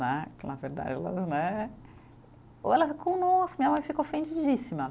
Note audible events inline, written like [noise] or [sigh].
Né [unintelligible] né, ou ela fica, nossa, minha mãe ficou ofendidíssima.